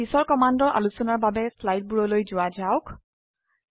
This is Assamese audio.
এতিয়া পিছৰ কমান্ডৰ আলোচনাৰ বাবে স্লাইডৰ বোৰলৈ যোৱা যাওক